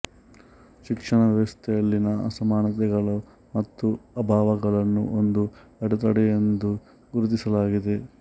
ಶಿಕ್ಷಣ ವ್ಯವಸ್ಥೆಯಲ್ಲಿನ ಅಸಮಾನತೆಗಳು ಮತ್ತು ಅಭಾವಗಳನ್ನು ಒಂದು ಅಡೆತಡೆಯೆಂದು ಗುರುತಿಸಲಾಗಿದೆ